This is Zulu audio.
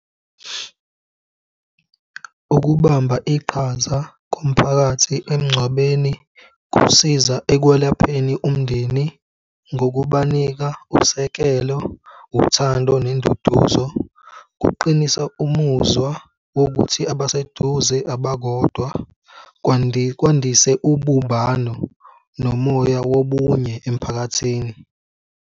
Ukubamba iqhaza komphakathi emngcwabeni kusiza ekwelapheni umndeni, ngokubanika usekelo, uthando nenduduzo kuqinisa umuzwa wokuthi abaseduze abakodwa kwandise ubumbano nomoya wobunye emiphakathini.